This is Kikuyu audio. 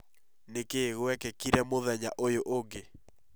Nĩkĩĩ gwekĩkire mũthenya ũyũ ũngĩ